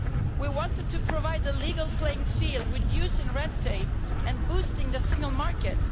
We wanted to provide a legal playing field, reducing red tape and boosting the single market.